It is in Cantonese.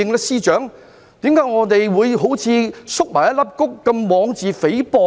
司長，為何我們會縮起如一粒穀般，妄自菲薄呢？